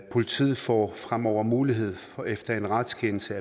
politiet får fremover mulighed for efter en retskendelse